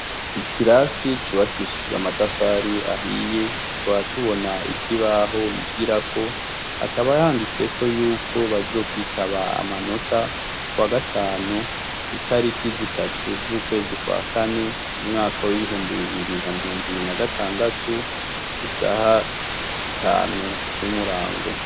Ikirasi cubakishijwe amatafari ahiye twatubona ikibaho bigirako akabahanditseko yuko bazokwitaba amanota wa gatanu itariki zitatu z'ukwezi kwa kane umwaka w'ibihumba bibiri na miyongo ibiri na gatandatu isaha tanu z'umurango.